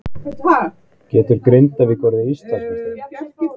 Getur Grindavík orðið Íslandsmeistari?